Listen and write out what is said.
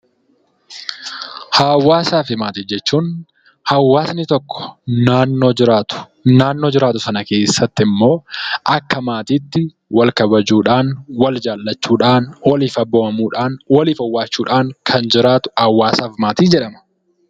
Hawwaasaa fi maatii jechuun hawwaasni tokko naannoo jiraatu. Naannoo jiraatu sana keessatti immoo akka maatiitti wal kabajuudhaan, wal jaallachuudhaan, waliif abboomamuudhaan, waliif owwaachuudhaan kan jiraatu hawaasaaf maatii jedhama.